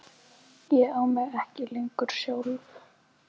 Ég á mig ekki lengur sjálf.